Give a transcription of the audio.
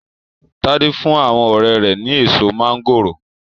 Tade fún àwọn ọrẹ́ rẹ̀ ni èso máńgòrò.